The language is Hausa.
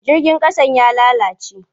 Jirgin ƙasan ya lalace.